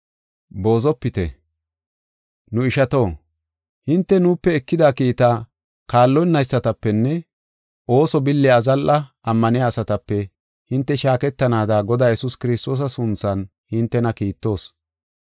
Nu ishato, hinte nuupe ekida kiitaa kaallonaysatapenne ooso billiya azalla ammaniya asatape hinte shaaketanaada Godaa Yesuus Kiristoosa sunthan hintena kiittoos.